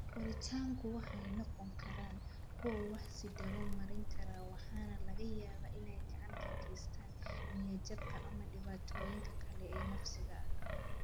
Koritaanku waxa ay noqon karaan kuwo wax-is-daba-marin kara waxaana laga yaabaa inay gacan ka geystaan ​​niyad-jabka ama dhibaatooyinka kale ee nafsiga ah.